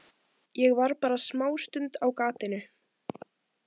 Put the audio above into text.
Ég var bara smástund á gatinu.